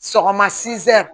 Sɔgɔma sɛn